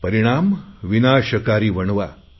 परिणाम विनाशकारी वणवा